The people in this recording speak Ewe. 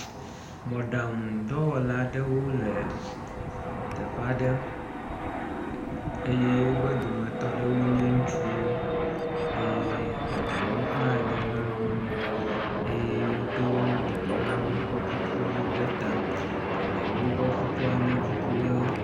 mɔɖaŋu dɔwɔlawo le teƒaɖe eye wobe dometɔɖewo nye ŋutsuwo eye eɖewo hã nye nyɔŋuwo eye woɖoɔ dɔwɔlawo ƒe kuku ɖe ta , eɖewo ƒe kukua nye kuku ɣe